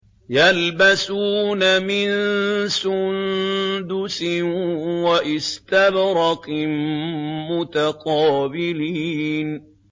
يَلْبَسُونَ مِن سُندُسٍ وَإِسْتَبْرَقٍ مُّتَقَابِلِينَ